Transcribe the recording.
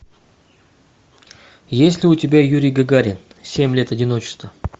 есть ли у тебя юрий гагарин семь лет одиночества